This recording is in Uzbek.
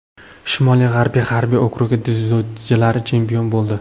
Shimoli-g‘arbiy harbiy okrugi dzyudochilari chempion bo‘ldi.